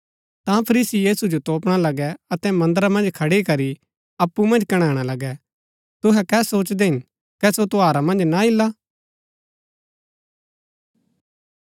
ता फरीसी यीशु जो तोपणा लगै अतै मन्दरा मन्ज खड़ी करी अप्पु मन्ज कणैणा लगै तुहै कै सोचदै हिन कै सो त्यौहारा मन्ज ना ईला